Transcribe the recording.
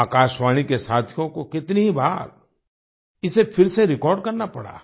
आकाशवाणी के साथियों को कितनी ही बार इसे फिर से रिकॉर्ड करना पड़ा है